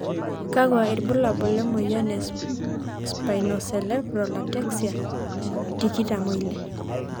kakua ilbulabul emoyian e spinocerebella ataxia tikitam oile?